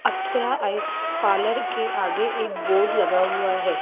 अप्सरा आ इस पार्लर के आगे एक बोर्ड लगा हुआ है।